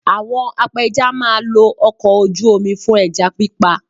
Àwọn apẹja máa lo ọkọ̀ ojú mi fún ẹja pípa